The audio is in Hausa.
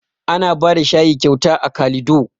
Ana bada shayi kyauta a kalido